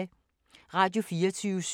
Radio24syv